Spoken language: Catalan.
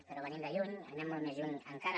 però venim de lluny anem molt més lluny encara